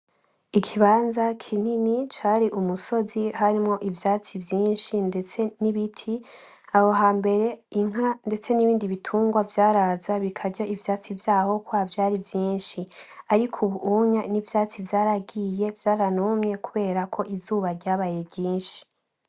Ikibanza kinini cari ku musozi harimwo ivyatsi vyinshi ndetse n'ibiti ,aho hambere inka ndetse n'ibindi bitungwa vyaraza bikarya ivyatsi vyaho kubera vyari vyinshi. Ariko ubuhunya n'ivyatsi vyaragiye vyaranumye kuberako izuba ryabaye ryinshi.